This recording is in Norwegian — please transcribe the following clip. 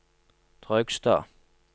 Trøgstad